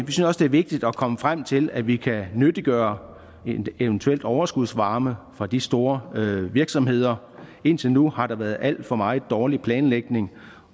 det er vigtigt at komme frem til at vi kan nyttiggøre en eventuel overskudsvarme fra de store virksomheder indtil nu har der været alt for meget dårlig planlægning